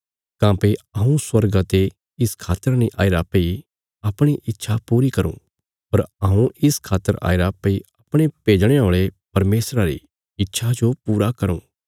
काँह्भई हऊँ स्वर्गा ते इस खातर नीं आईरा भई अपणी इच्छा पूरी करूँ पर हऊँ इस खातर आईरा भई अपणे भेजणे औल़े परमेशरा री इच्छा जो पूरा करूँ